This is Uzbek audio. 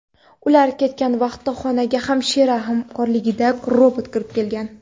Ular ketgan vaqtda xonaga hamshira hamrohligida robot kirib kelgan.